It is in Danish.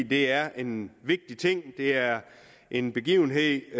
det er en vigtig ting det er en begivenhed